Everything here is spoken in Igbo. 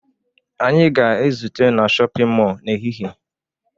Anyị ga-ezute na shọpịn mọọ n'ehihie